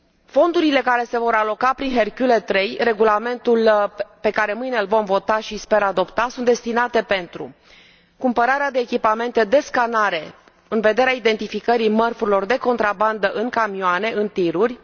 Fondurile care se vor aloca prin Hercule III, regulamentul pe care mâine îl vom vota și, sper, adopta, sunt destinate pentru cumpărarea de echipamente de scanare, în vederea identificării mărfurilor de contrabandă în camioane, în TIR uri